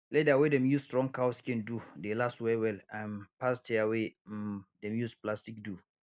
leather wey dem use strong cow skin do dey last well well um pass chair wey um dem use plastic do